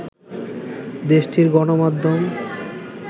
দেশটির গণমাধ্যম